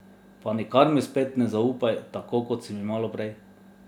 Pa nikar mi spet ne zaupaj, tako kot si mi malo prej.